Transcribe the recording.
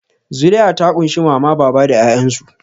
Zuri'a ta ƙunshi Mama baba da 'ya'yansu.